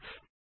শুভবিদায়